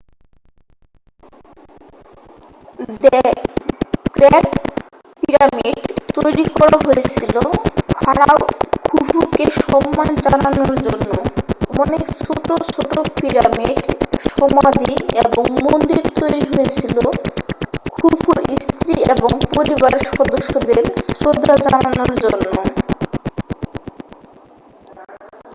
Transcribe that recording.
the great pyramid তৈরি করা হয়েছিল ফারাও খুফুকে সম্মান জানানোর জন্য অনেক ছোটো ছোটো পিরামিড সমাধি এবং মন্দির তৈরি হয়েছিল খুফুর স্ত্রী এবং পরিবারের সদস্যদের শ্রদ্ধা জানানোর জন্য